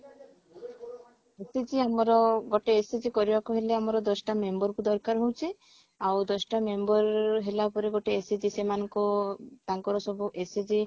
SHG ଆମର ଗୋଟେ SHG କରିବାକୁ ହେଲେ ଆମର ଦଶଟା member କୁ ଦରକାର ହଉଛି ଆଉ ଦଶଟା member ହେଲା ପରେ ଗୋଟେ SHG ସେମାନଙ୍କୁ ତାଙ୍କର ସବୁ SHG ଅ